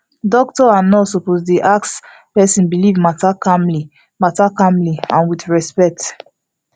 doctor and nurse suppose ask person belief matter calmly matter calmly and with respect